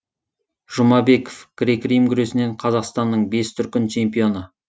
жұмабеков грек рим күресінен қазақстанның бес дүркін чемпионы